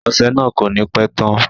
Ọsẹ náà ko ni pẹ tán.